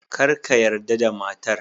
Kar ka yarda da matar